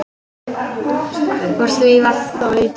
Úr því varð þó lítið.